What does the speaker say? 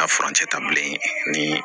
A furancɛ ta bilen ni